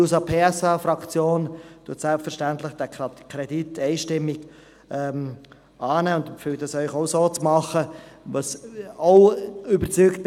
Die SP-JUSO-PSA-Fraktion wird den Kredit selbstverständlich einstimmig annehmen, und ich empfehle Ihnen, dies auch zu tun.